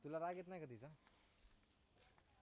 तुला राग येत नाही का तिचा